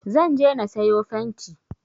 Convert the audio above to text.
Zan je na sayo fenti